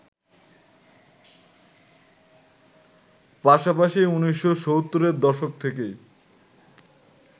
পাশাপাশি ১৯৭০এর দশক থেকেই